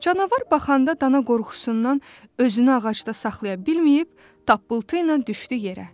Canavar baxanda dana qorxusundan özünü ağacda saxlaya bilməyib, tappıltı ilə düşdü yerə.